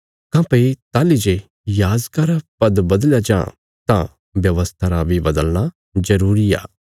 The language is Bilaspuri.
काँह्भई ताहली जे याजका रा पद बदलया जां तां व्यवस्था रा बी बदलना जरूरी आ